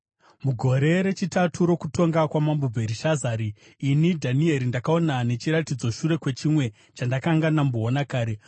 Mugore rechitatu rokutonga kwaMambo Bherishazari, ini, Dhanieri, ndakaona nechiratidzo, shure kwechimwe chandakanga ndamboona kare.